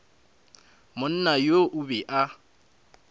monna yoo o be a